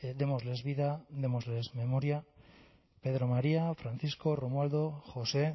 démosles vida démosles memoria pedro maría francisco romualdo josé